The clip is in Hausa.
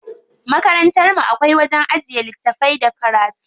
Makarantar mu akwai wajen ajiye littafai da karatu.